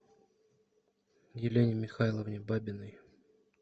елене михайловне бабиной